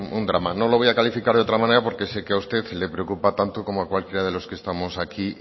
un drama no lo voy a calificar de otra manera porque sé que a usted le preocupa tanto como a cualquiera de los que estamos aquí